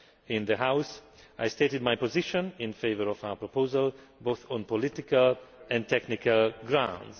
In the House I stated my position in favour of our proposal, both on political and technical grounds.